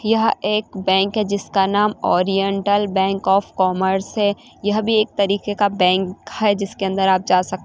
यह एक बैंक है जिसका नाम ओरिएंटल बैंक ऑफ कॉमर्स है यह भी एक तरीके का बैंक है जिसके अंदर आप जा सक--